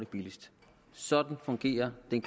billigst sådan fungerer den